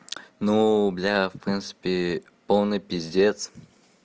ну бля в принципе полный пиздец